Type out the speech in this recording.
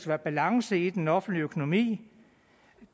være balance i den offentlige økonomi